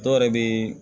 Dɔw yɛrɛ bɛ